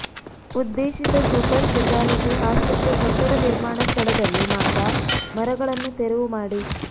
ಉದ್ದೇಶಿತ super speciality ಆಸ್ಪತ್ರೆ ಕಟ್ಟಡ ನಿಮಾರ್ಣ ಸ್ಥಳದಲ್ಲಿ ಮಾತ್ರ ಮರ ಗಳನ್ನು ತೆರವು ಮಾಡಿ